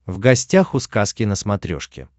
в гостях у сказки на смотрешке